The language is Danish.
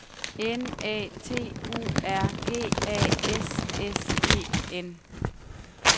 N A T U R G A S S E N